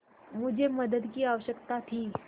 मुझे मदद की आवश्यकता थी